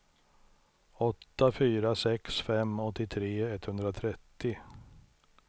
åtta fyra sex fem åttiotre etthundratrettio